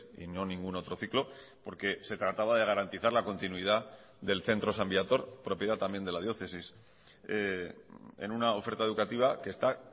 y no ningún otro ciclo porque se trataba de garantizar la continuidad del centro san viator propiedad también de la diócesis en una oferta educativa que está